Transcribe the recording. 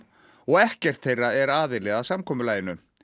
og ekkert þeirra er aðili að samkomulaginu